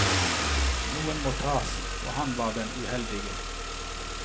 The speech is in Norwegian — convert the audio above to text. Noen måtte tas, og han var den uheldige.